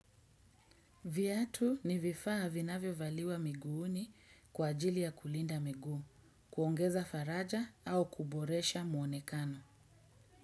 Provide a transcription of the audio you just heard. Viatu ni vifaa vinavyovaliwa miguuni kwa ajili ya kulinda miguu, kuongeza faraja au kuboresha muonekano.